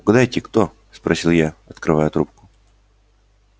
угадайте кто спросил я открывая трубку